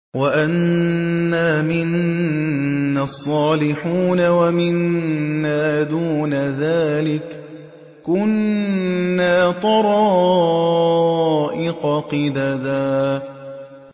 وَأَنَّا مِنَّا الصَّالِحُونَ وَمِنَّا دُونَ ذَٰلِكَ ۖ كُنَّا طَرَائِقَ قِدَدًا